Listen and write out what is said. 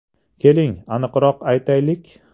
- Keling, aniqroq aytaylik.